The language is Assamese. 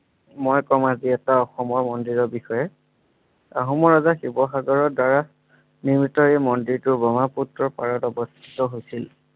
মই কম আজি এটা অসমৰ মন্দিৰৰ বিষয়ে আহোম এটা শিৱসাগৰৰ দ্বাৰা নিৰ্মিত এই মন্দিৰটো ব্ৰহ্মপুত্ৰৰ পাৰত অৱস্থিত হৈছিল।